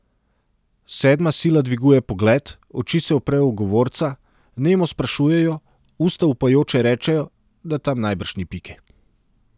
Sedma sila dviguje pogled, oči se uprejo v govorca, nemo sprašujejo, usta upajoče rečejo, da tam najbrž ni pike.